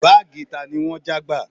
Báàgì tani wọ́n já gbà?